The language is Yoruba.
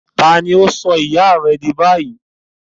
Ta àní ó sọ ìyá rẹ di báyìí